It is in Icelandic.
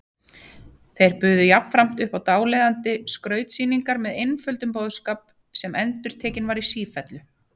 Þeir buðu jafnframt upp á dáleiðandi skrautsýningar með einföldum boðskap sem endurtekinn var í sífellu.